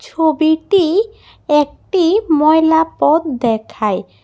ছবিটি একটি ময়লা পথ দেখায়।